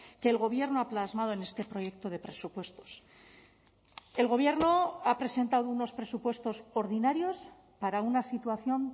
que el gobierno ha plasmado en este proyecto de presupuestos el gobierno ha presentado unos presupuestos ordinarios para una situación